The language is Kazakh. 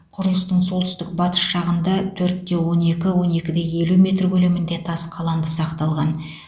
құрылыстың солтүстік батыс жағында төрт те он екі он екі де елу метр көлемінде тас қаланды сақталған